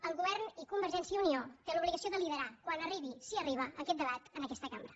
el govern i convergència i unió té l’obligació de liderar quan arribi si arriba aquest debat en aquesta cambra